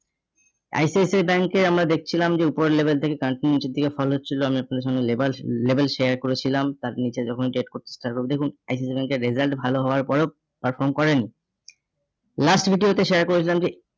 ICICIbank এ আমরা দেখছিলাম যে উপরের level থেকে continue নিচের দিকে fall হচ্ছিল আমি আপনাদের সঙ্গে লেবার level share করেছিলাম তার নিচে যখনই ডেট তারপর দেখুন ICICI bank এর result ভালো হওয়ার পরেও perform করেনি last video তে share করেছিলাম যে